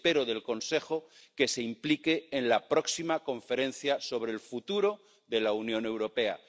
Y espero del Consejo que se implique en la próxima conferencia sobre el futuro de la Unión Europea.